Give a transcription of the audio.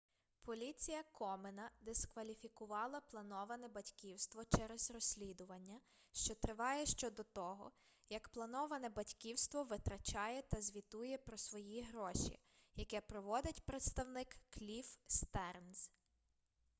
поліція комена дискваліфікувала плановане батьківство через розслідування що триває щодо того як плановане батьківство витрачає та звітує про свої гроші яке проводить представник кліфф стернз